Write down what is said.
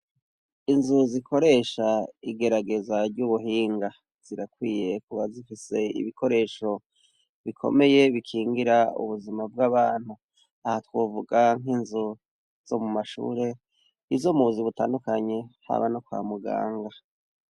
Inzu zikoresha igerageza ry'ubuhinga zirakwiye kuba zifise ibikoresho bikomeye bikingira ubuzima bw'abantu aha twovuga nk'inzu zo mu mashuri izo mubuzi butandukanye haba no kwa muganga.